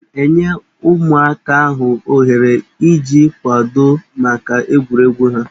Aga m enye ụmụaka ahụ ohere iji kwadoo maka egwuregwu ha.